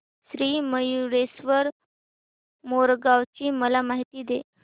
श्री मयूरेश्वर मोरगाव ची मला माहिती दे